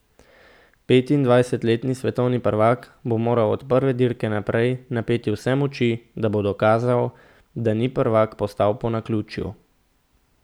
Petindvajsetletni svetovni prvak bo moral od prve dirke naprej napeti vse moči, da bo dokazal, da ni prvak postal po naključju.